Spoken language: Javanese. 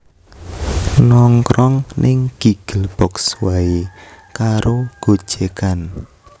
Nongkrong ning Giggle Box wae karo gojekan